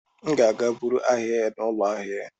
M ga-aga buru ahịa ya n'ụlọ ahịa ya.